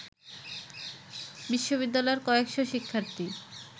বিশ্ববিদ্যালয়ের কয়েকশ শিক্ষার্থী